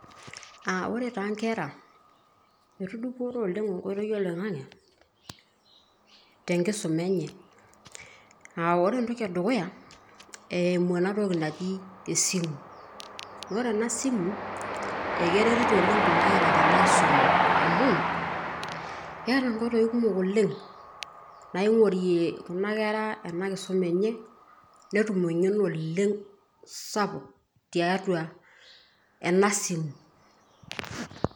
Aa ore taa ingera, etudupore oleng' enkoitoi oloing'ang'e tenkisuma enye, aa ore entoki edukuya naa eimu ena toki naji esimu, ore ena siimu ekeretito oleng' Kuna Kera tenkisuma amu keeta ingoitoi kumok oleng' naing'orie Kuna Kera enkisuma enye netum eng'eno oleng' SAPUK tiatua ena siimu .